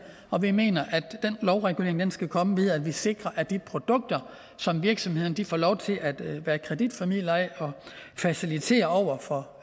og vi mener at den lovregulering skal komme ved at vi sikrer at de produkter som virksomhederne får lov til at være kreditformidlere af og facilitere over for